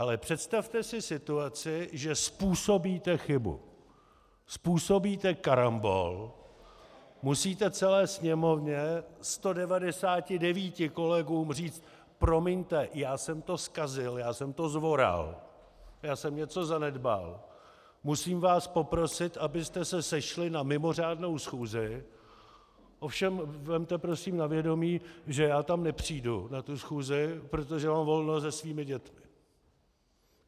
Ale představte si situaci, že způsobíte chybu, způsobíte karambol, musíte celé Sněmovně, 199 kolegům říct: "Promiňte, já jsem to zkazil, já jsem to zvoral, já jsem něco zanedbal, musím vás poprosit, abyste se sešli na mimořádnou schůzi, ovšem vezměte prosím na vědomí, že já tam nepřijdu, na tu schůzi, protože mám volno se svými dětmi."